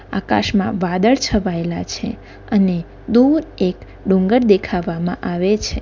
આકાશમાં વાદળ છવાયેલા છે અને દૂર એક ડુંગર દેખાવામાં આવે છે.